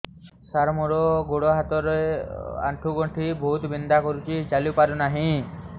ସାର ମୋର ଗୋଡ ହାତ ର ଆଣ୍ଠୁ ଗଣ୍ଠି ବହୁତ ବିନ୍ଧା କରୁଛି ଚାଲି ପାରୁନାହିଁ